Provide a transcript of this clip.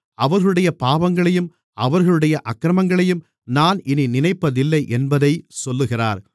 அவர்களுடைய பாவங்களையும் அவர்களுடைய அக்கிரமங்களையும் நான் இனி நினைப்பதில்லை என்பதைச் சொல்லுகிறார்